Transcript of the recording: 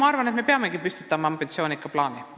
Ma arvan, et me peamegi püstitama ambitsioonika plaani.